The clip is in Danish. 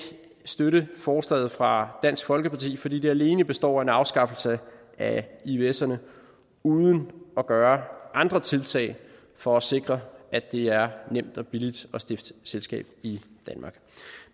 støtte forslaget fra dansk folkeparti fordi det alene består af en afskaffelse af ivserne uden at gøre andre tiltag for at sikre at det er nemt og billigt at stifte selskab i danmark